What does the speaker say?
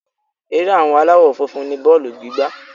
Ere àwọn aláwọ́ funfun ni bọ́ọ̀lù gígbá.